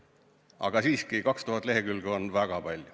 Aga siiski, 2000 lehekülge on väga palju.